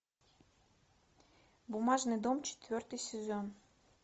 бумажный дом четвертый сезон